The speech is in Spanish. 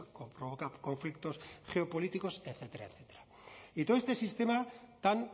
provoca conflictos geopolíticos etcétera etcétera y todo este sistema tan